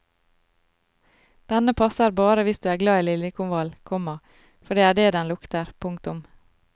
Denne passer bare hvis du er glad i liljekonvall, komma for det er det den lukter. punktum